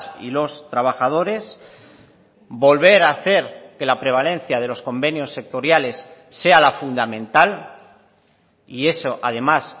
y los trabajadores volver a hacer que la prevalencia de los convenios sectoriales sea la fundamental y eso además